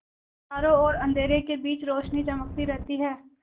चारों ओर अंधेरे के बीच रौशनी चमकती रहती है